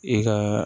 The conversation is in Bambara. I ka